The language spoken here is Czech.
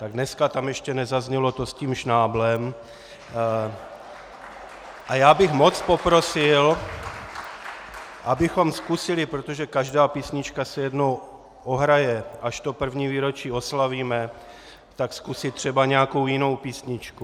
Tak dneska tam ještě nezaznělo to s tím Šnáblem a já bych moc poprosil, abychom zkusili, protože každá písnička se jednou ohraje, až to první výročí oslavíme, tak zkusit třeba nějakou jinou písničku.